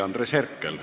Andres Herkel.